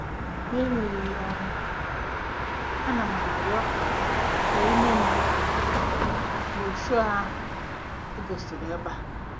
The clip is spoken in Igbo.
N'enweghị ọrụ, ana m arịọ ka e nye m broshọ ahụ e gosiri ebe a.